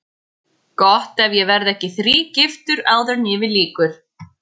Gott ef ég verð ekki þrígiftur áður en yfir lýkur.